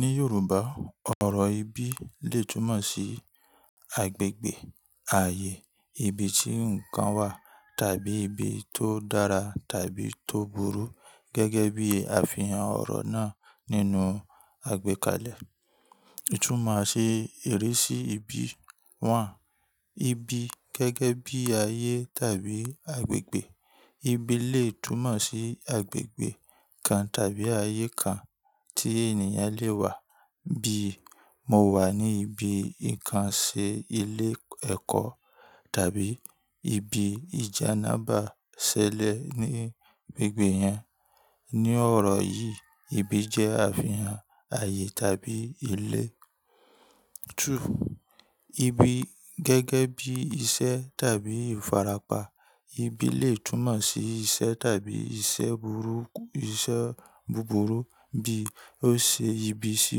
Ní Yorùbá, ọ̀rọ̀ ibi lè túmọ̀ sí agbègbè, ààyè, ibi tí ǹkan wà, tàbí ibi tó dára tàbí tó burú gẹ́gẹ́ bí àfihàn ọ̀rọ̀ náà nínú àgbékalẹ̀. Ìtúmọ̀ ṣe èrè sí ibi wa. Ibi gẹ́gẹ́ bí ayé tàbí agbègbè. Ibi lè túmọ̀ sí agbègbè kan tàbí ayé kan tí ènìyàn lè wà bíi "Mo wà ní ibi ǹkan ṣe ilé ẹ̀kọ́" tàbí "Ibi ìjáná bá ṣẹlẹ̀ ní gbogbo yan." Ní ọ̀rọ̀ yìí, ibi jẹ́ àfihàn ààyè tàbí ilẹ̀. Ibi gẹ́gẹ́ bí iṣẹ́ tàbí ìfarapa. Ibi lè túmọ̀ sí iṣẹ́ tàbí iṣẹ́ búburú bí ó ṣe ibi sí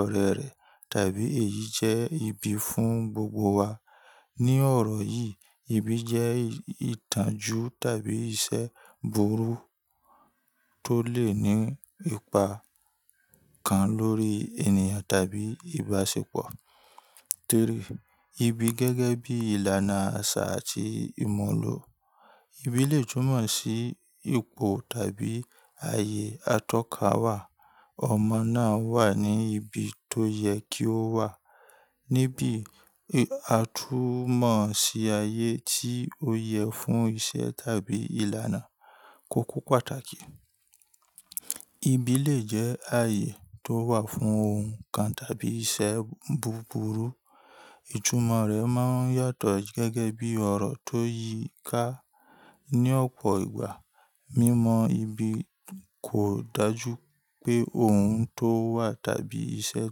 ọ̀rẹ́ rẹ̀ tàbí èyí jẹ́ ibi fún gbogbo wa. Ní ọ̀rọ̀ yìí, ibi jẹ́ ìtànjú tàbí iṣẹ́ burú tó lè ní ipa kan lórí ènìyàn tàbí ìbáṣepọ̀. Ibi gẹ́gẹ́ bí ìlànà àṣà àti ìmọ̀lù. Ibi lè túmọ̀ sí ipò tàbí ààyè atọ́ka wà. Ọmọ náà wà ní ibi tó yẹ kí ó wà. Níbì, à tú mọ̀ sí ayé tí ó yẹ fún iṣẹ́ tàbí ìlànà kúkú pàtàkì. Ibi lè jẹ́ ààyè tó wà fún ohun kan tàbí iṣẹ́ búburú. Ìtúmọ̀ rẹ̀ máa ń yàtọ̀ gẹ́gẹ́ bí ọ̀rọ̀ tó yí i ká. Ni ọ̀pọ̀ ìgbà, mímọ ibi kò dájú pé ohun tó wà tàbí iṣẹ́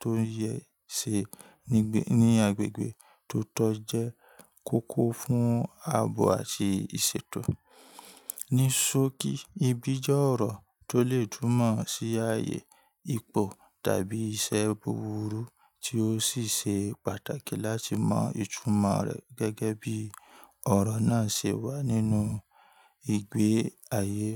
tó ń yẹ ṣe ní agbègbè tó tọ́ jẹ́ kókó fún ààbò àti ìṣètò. Nisóòkì, ibi jẹ́ ọ̀rọ̀ tó lè túmọ̀ sí ààyè, ipò tàbí iṣẹ́ búburú tí ó sì ṣe pàtàkì láti mọ ìtúmọ̀ rẹ̀ gẹ́gẹ́ bí ọ̀rọ̀ náà ṣe wà nínú ìgbé ayé.